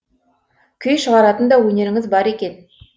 күй шығаратын да өнеріңіз бар екен